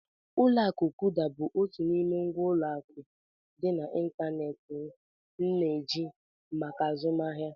Ụlọ akụ Kuda bụ otu n'ime ngwa ụlọ akụ dị n'ịntanetị m na-eji maka azụmahịa.